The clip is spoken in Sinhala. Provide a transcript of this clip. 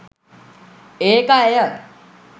ඒක ඇය